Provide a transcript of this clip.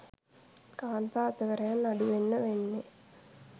කාන්තා අතවරයන් අඩුවෙන්ම වෙන්නේ.